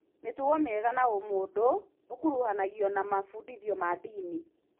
Mĩtugo mĩega na ũmũndũ ũkũruhanagio na mabudithio ma ndini